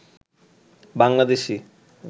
Bangladeshi